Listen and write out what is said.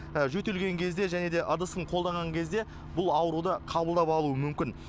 жөтелген кезде және де ыдысын қолданған кезде бұл ауруды қабылдап алуы мүмкін